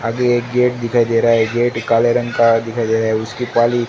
आगे एक गेट दिखाई दे रहा है गेट काले रंग का दिखाई दे रहा है उसकी पाली--